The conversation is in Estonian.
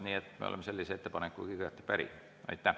Nii et me oleme sellise ettepanekuga päri.